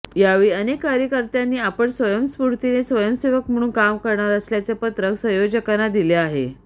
यावेळी अनेक कार्यकर्त्यांनी आपण स्वयंस्फूर्तीने स्वयंसेवक म्हणून काम करणार असल्याचे पत्रक संयोजकांना दिले आहे